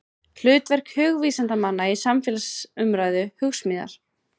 Hlutverk hugvísindamanna í samfélagsumræðu, Hugsmíðar.